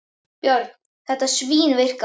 Björn: Þetta svínvirkar?